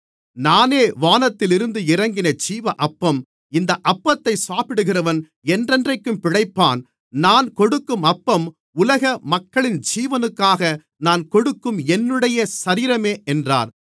நானே வானத்திலிருந்து இறங்கின ஜீவ அப்பம் இந்த அப்பத்தை சாப்பிடுகிறவன் என்றென்றைக்கும் பிழைப்பான் நான் கொடுக்கும் அப்பம் உலக மக்களின் ஜீவனுக்காக நான் கொடுக்கும் என்னுடைய சரீரமே என்றார்